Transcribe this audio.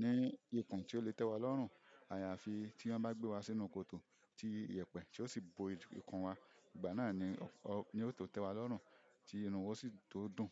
ní ikun tí ó lè tẹ́wa lọ́run àyàfi tí wọ́n bá gbé wa sínú kòtò ti iyẹ̀pẹ̀ tí ó sì bo ikùn wa. Ìgbà náà ni yóò tó tẹ́wa lọ́run, tí inú wa sì yóò si to dùn.